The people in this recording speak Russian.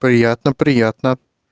приятно приятно